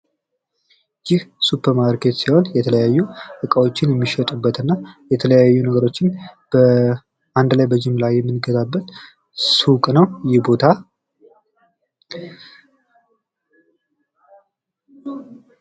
ይህ ሱፐርማርኬት ሲሆን የተለያዩ እቃዎችን እና የተለያዩ ነገሮችን አንድ ላይ በጅምላ የምንገዛበት ሱቅ ነው ይህ ቦታ።